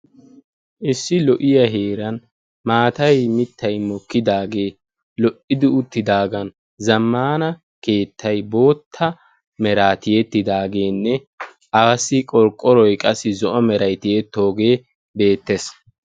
Issi lo"iyaa heeran maatay mittay mokkidagee lo"idi uttidaagan zammaana keettay bootta meraa tiyettidagenne aassi qorqoroy qassi zo'o meray tiyettoogee beettees.